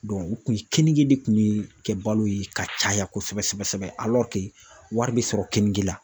u kun keninge de kun ye kɛ balo ye ka caya kosɛbɛ sɛbɛ sɛbɛ wari bɛ sɔrɔ keninge la.